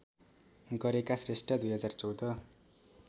गरेका श्रेष्ठ २०१४